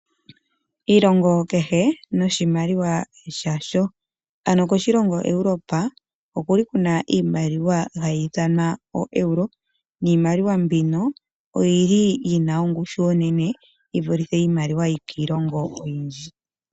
Oshilongo kehe noshimaliwa shasho. Koshilongo Europe okwali iimaliwa hayi ithanwa o Euro . Iimaliwa mbino oyina ongushu onene . Yivulithe iimaliwa yokiilongo oyindji.